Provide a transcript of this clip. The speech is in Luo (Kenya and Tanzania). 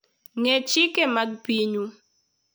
Ng'e chike mag pinyu.